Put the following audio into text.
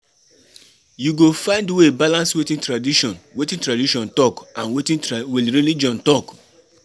You go find way balance wetin tradition wetin tradition talk and wetin religion talk.